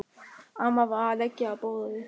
Amma var að leggja á borðið.